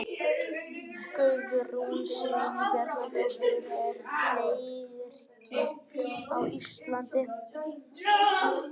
Guðrún Sveinbjarnardóttir, Leirker á Íslandi.